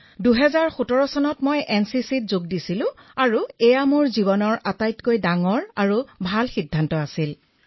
মই ২০১৭ চনত এনচিচিত যোগদান কৰিছিলো আৰু এয়া মোৰ জীৱনৰ সবাতোকৈ উত্তম সিদ্ধান্ত আছিল মহাশয়